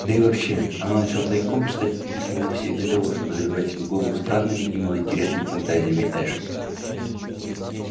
да и вообще она начала тайком читать эти письма вовсе не для того чтобы забивать себе голову странными и малоинтересными фантазиями эшли